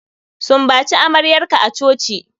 Sumbaci amaryarka a coci.